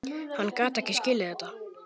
Hann gat ekki skilið þetta.